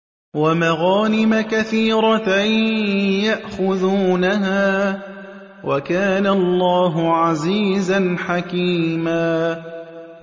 وَمَغَانِمَ كَثِيرَةً يَأْخُذُونَهَا ۗ وَكَانَ اللَّهُ عَزِيزًا حَكِيمًا